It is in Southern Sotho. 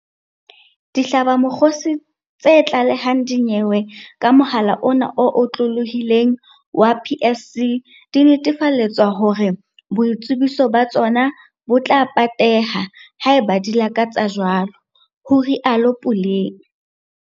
Dihlabamokgosi tse tla lehang dinyewe ka mohala ona o otlolohileng wa PSC di netefaletswa hore boitsebiso ba tsona bo tla pateha, haeba di lakatsa jwalo, ho rialo.